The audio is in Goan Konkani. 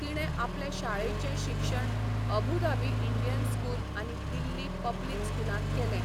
तिणें आपलें शाळेचें शिक्षण अबू धाबी इंडियन स्कूल आनी दिल्ली पब्लिक स्कूलांत केलें.